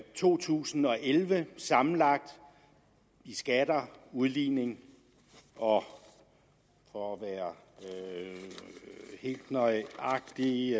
to tusind og elleve sammenlagt i skatter udligning og for at være helt nøjagtig